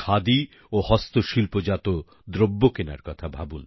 খাদি ও হস্তশিল্পজাত দ্রব্য কেনার কথা ভাবুন